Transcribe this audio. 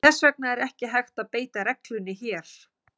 Þess vegna er ekki hægt að beita reglunni hér.